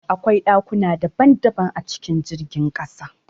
Akwai ɗakuna daban daban a cikin jirgin ƙasa